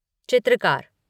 चित्रकार